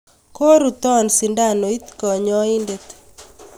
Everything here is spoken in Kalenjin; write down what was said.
koruto sindanoit kanyaindet